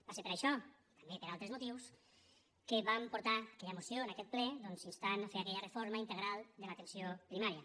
va ser per això i també per altres motius que vam portar aquella moció en aquest ple doncs instant a fer aquella reforma integral de l’atenció primària